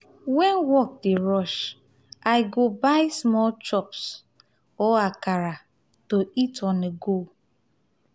when work dey rush i go buy small chops or akara to eat on-the-go.